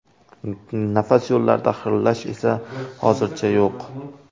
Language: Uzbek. Nafas yo‘llarida xirillash esa hozircha yo‘q.